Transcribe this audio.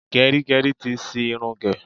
Gẹrígẹrí ti ṣi irun gẹ̀.